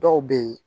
Dɔw bɛ ye